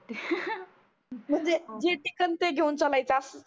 म्हणजे जे दिसन ते घेऊन चलायचं असं.